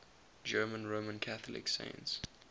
german roman catholic saints